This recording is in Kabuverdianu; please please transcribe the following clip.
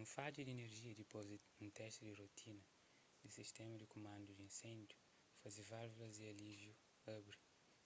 un fadja di inerjia dipôs di un testi di rotina di sistéma di kumandu di inséndiu faze válvulas di alíviu abri